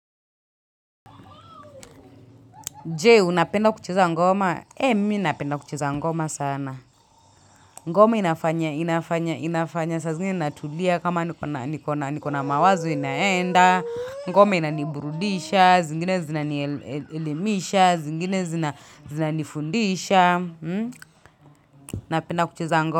Je unapenda kucheza ngoma eeh mimi napenda kucheza ngoma sana ngoma inafanya inafanya inafanya sa zingine natulia kama nikona nikona nikona mawazo inaenda ngoma inaniburudisha zingine zinanielemisha zingine zinanifundisha napenda kucheza ngo.